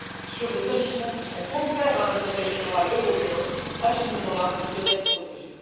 sur des agissements contraires à l'intérêt général européen, à ce moment là, il doit être protégé.